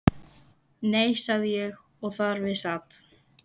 Nei, sagði ég og þar við sat.